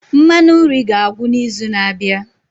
Mmanụ nri ga-agwụ n'izu na-abịa.